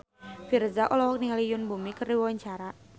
Virzha olohok ningali Yoon Bomi keur diwawancara